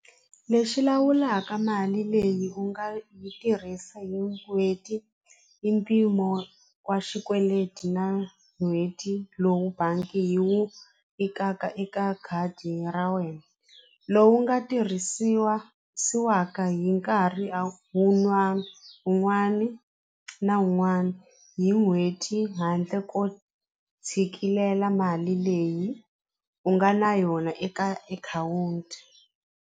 Lexi lawulaka mali leyi u nga yi tirhisa hi n'hweti hi mpimo wa swikweleti na n'hweti lowu bangi yi wu vekaka eka khadi ra wena lowu nga tirhisiwaka hi nkarhi a wu un'wana na un'wana hi n'hweti handle ko tshikilela mali leyi u nga na yona eka akhawunti.